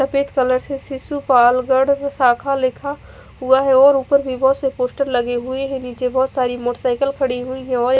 सफेद कलर से शिशु पाल्गड़ शाखा लिखा हुआ है और उपर विवो से पोस्टर लगे हुए है ओए निचे बहोत सारी मोटरसाइकल खड़ी हुई है और--